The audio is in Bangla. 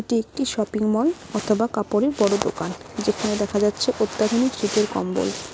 এটি একটি শপিং মল অথবা কাপড়ের বড়ো দোকান যেখানে দেখা যাচ্ছে অত্যাধুনিক শীতের কম্বল।